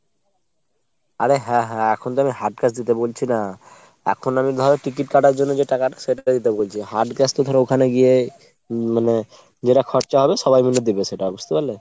আরে হ্যাঁ হ্যাঁ। এখন তো আমি hard cash দিতে বলছি না। এখন আমি ধরো ticket কাটার জন্য যে টাকাটা সেটা দিতে বলছি hard cash তো ধরো ওখানে গিয়ে উম মানে যেটা খরচা হবে সবাই মিলে দেবে সেটা বুঝতে পারলে ?